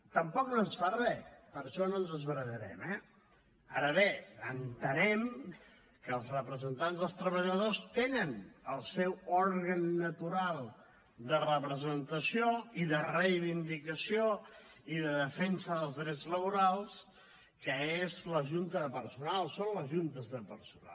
tampoc no ens fa re per això no ens esbarallarem eh ara bé entenem que els representants dels treballadors tenen el seu òrgan natural de representació i de reivindicació i de defensa dels drets laborals que és la junta de personal són les juntes de personal